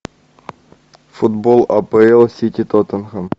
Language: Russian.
футбол апл сити тоттенхэм